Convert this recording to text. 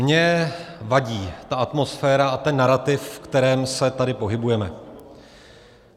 Mně vadí ta atmosféra a ten narativ, v kterém se tady pohybujeme.